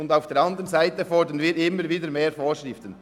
Und auf der anderen Seite fordern wir immer wieder mehr Vorschriften.